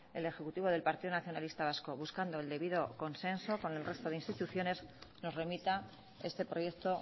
el ejecutivo del partido nacionalista vasco buscando el debido consenso con el resto de instituciones nos remita este proyecto